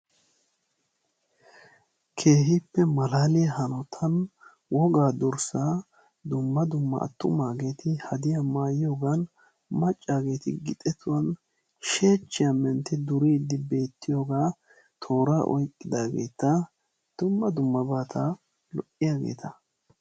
Keehippe malaaliya hanotan wogaa durssaa dumma dumma attumaageeti hadiya maayiyogan maccaageeti gixetuwan sheechchiya mentti duriiddi beettiyogaa tooraa oykkidaageeta dumma dummabata lo'iyageeta.